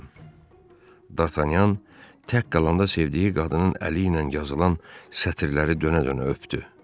Dartanyan tək qalanda sevdiyi qadının əli ilə yazılan sətrləri dönə-dönə öpdü.